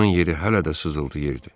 Onun yeri hələ də sızıldayırdı.